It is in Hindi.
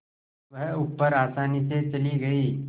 वह ऊपर आसानी से चली गई